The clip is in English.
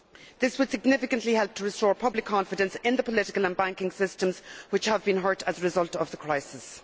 This would significantly help to restore public confidence in the political and banking systems, which have been hurt as a result of the crisis.